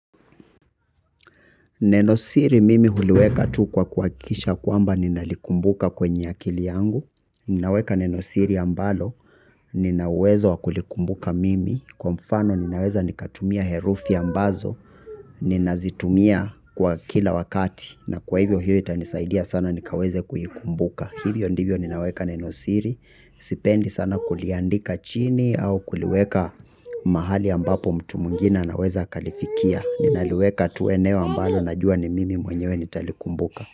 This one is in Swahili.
Neno siri mimi huliweka tu kwa kuhakikisha kwamba ninalikumbuka kwenye akili yangu. Ninaweka neno siri ambalo nina uwezo wa kulikumbuka mimi. Kwa mfano ninaweza nikatumia herufi ambazo ninazitumia kwa kila wakati. Na kwa hivyo hiyo itanisaidia sana nikaweze kuikumbuka. Hivyo ndivyo ninaweka neno siri. Sipendi sana kuliandika chini au kuliweka mahali ambapo mtu mwingine anaweza akalifikia. Ninaliweka tu eneo ambalo najua ni mimi mwenyewe nitalikumbuka.